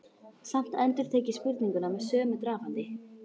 Samt endurtek ég spurninguna með sömu drafandi.